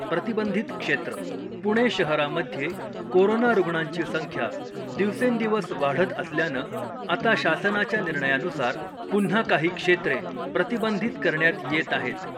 प्रतिबंधित क्षेत्र, पुणे शहरामध्ये कोरोना रुग्णांची संख्या दिवसेंदिवस वाढत असल्यानं आता शासनाच्या निर्णयानुसार पुन्हा काही क्षेत्रे प्रतिबंधित करण्यात येत आहेत .